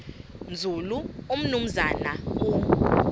nzulu umnumzana u